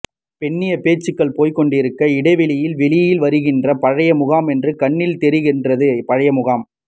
பெண்ணிய பேச்சுக்கள் போய் கொண்டிருக்க இடைவேளையின் வெளியில் வருகின்றேன் பழைய முகமொன்று கண்ணில் தெரிகின்றது பழகிய முகம்